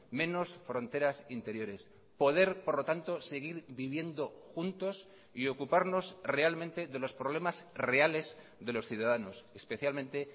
menos fronteras interiores poder por lo tanto seguir viviendo juntos y ocuparnos realmente de los problemas reales de los ciudadanos especialmente